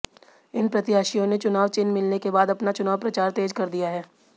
इन प्रत्याशियों ने चुनाव चिन्ह मिलने के बाद अपना चुनाव प्रचार तेज कर दिया हैं